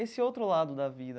Esse outro lado da vida.